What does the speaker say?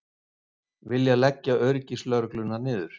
Vilja leggja öryggislögregluna niður